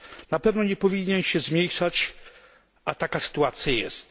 Na pewno nie powinien się zmniejszać, a taka sytuacja ma miejsce.